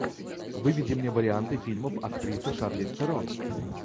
выведи мне варианты фильмов актрисы шарлиз терон